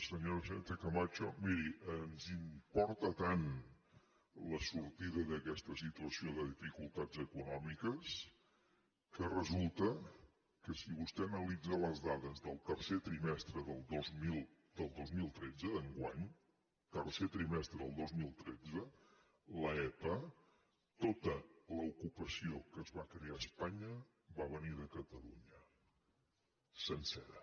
senyora sánchez camacho miri ens importa tant la sortida d’aquesta situació de dificultats econòmiques que resulta que si vostè analitza les dades del tercer trimestre del dos mil tretze d’enguany tercer trimestre del dos mil tretze l’epa tota l’ocupació que es va crear a espanya va venir de catalunya sencera